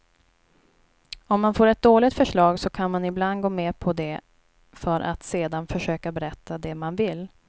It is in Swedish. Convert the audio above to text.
Om man får ett dåligt förslag så kan man ibland gå med på det för att sedan försöka berätta det man vill.